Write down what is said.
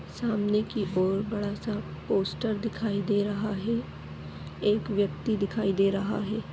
सामने की ओर बोहत बड़ा सा पोस्टर दिखाई दे रहा है एक व्यक्ति दिखाई दे रहा है।